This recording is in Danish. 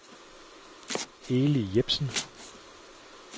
Eli Jepsen